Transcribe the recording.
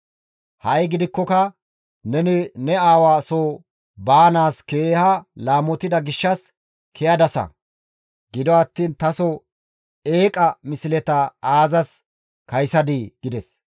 Ha7i gidikkoka neni ne aawa soo baanaas keeha laamotida gishshas ke7adasa; gido attiin taso eeqa misleta aazas kaysadii?» gides.